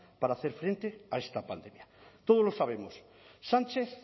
para hacer frente a esta pandemia todos lo sabemos sánchez